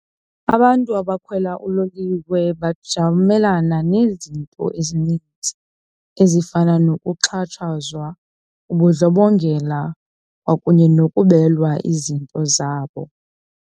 Abantu abakhwela uloliwe bajamelana nezinto ezininzi ezifana nokuxhatshazwa, ubundlobongela kwakunye nokubelwa izinto zabo.